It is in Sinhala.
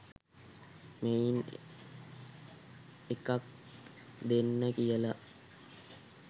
මෙයින් එකක් දෙන්න කියලා.